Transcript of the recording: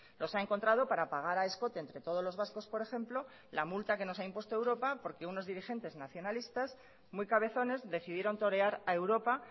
los ha encontrado para pagar a escote entre todos los vascos por ejemplo la multa que nos ha impuesto europa porque unos dirigentes nacionalistas muy cabezones decidieron torear a europa